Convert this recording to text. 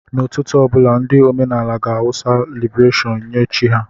N'ụtụtụ ọ bụla, ndị omenaala ga-awụsa laibeshon nye chi ha.